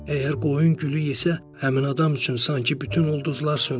Əgər qoyun gülü yesə, həmin adam üçün sanki bütün ulduzlar sönür.